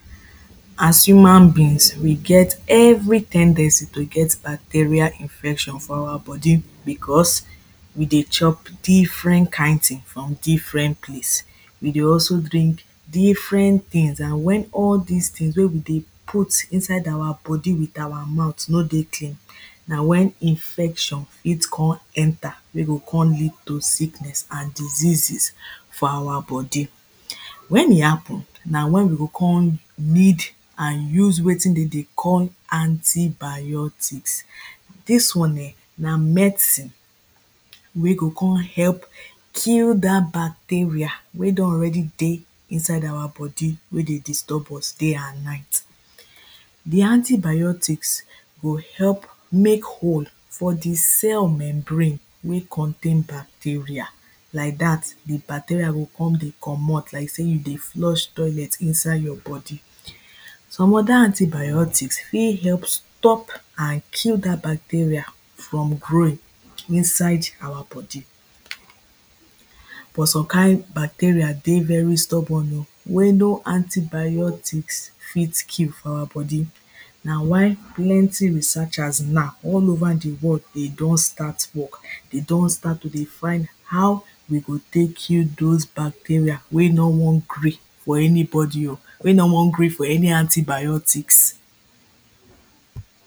as human beings we get every ten dency to get bacteria infection for our body because, we dey chop different kind ting from different place. we dey also drink different things, and when all dis things wey we dey put inside our body with our mouth no dey clean na when infection fit, con enter wey go con lead to sickness and diseases for our body. when e happen, na when we go con need and use wetin dem dey call, antibiotics. dis one um na medicine wey go con help, kill dat bacteria wey don already dey inside our body, wey dey disturb us day and night. the antibiotics go help make hole for the cell membrane, wey contain bacteria like dat the bacteria go con dey comot like say you dey flush toilet inside your body. some other antibiotics fit help stop and kill dat bacteria from growing inside our body. but some kind bacteria dey very stubborn o wey no antibiotics fit kill for our body na why plenty researchers now all over the world dey don start work, dey don start to dey find how we go take kill those bacteria wey no wan gree for anybody o wey no wan gree for any antibiotics.